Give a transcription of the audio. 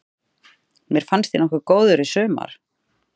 Mér fannst ég nokkuð góður í sumar.